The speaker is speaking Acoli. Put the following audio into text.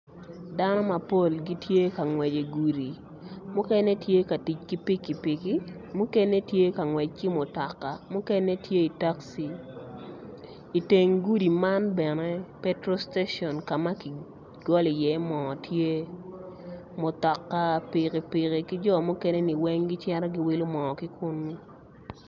Dano mapol gitye ka ngwec igudi mukene tye ka tic ki pikipiki mukene tye ka ngwec ki mutoka mukene tye i taxi iteng gudi man bene petrol station ka ma kigolo iye moo tye mutoka mutoka pikipiki ki jo mukeneni weng gicito giwilo moo ki kuno.